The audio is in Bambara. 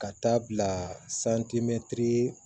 Ka taa bila